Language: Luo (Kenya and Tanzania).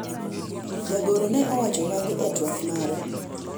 jagoro ne owacho magi e twak mare